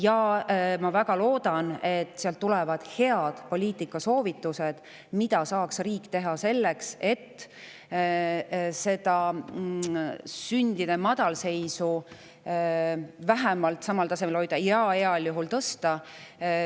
Ja ma väga loodan, et sealt tulevad head poliitikasoovitused: mida saaks riik teha selleks, et sündide madalseisu vähemalt samal tasemel hoida ja heal juhul tõsta.